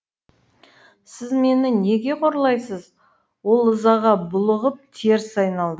сіз мені неге қорлайсыз ол ызаға булығып теріс айналды